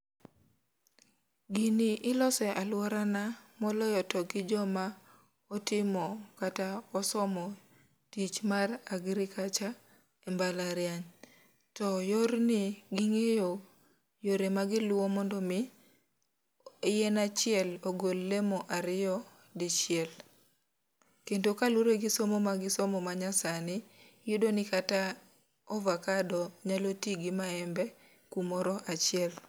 Gini iloso e alworana, moloyo to gi joma, otimo, kata osomo tich mar agriculture e mbalariany. To yorni, gingéyo yore magiluwo mondo omi, yien achiel ogol lemo ariyo dichiel. Kendo ka luwore gi somo ma gisomo ma nya sani iyudo ni kata avocado nyalo ti go mawembe kumoro achiel.